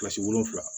Kilasi wolonwula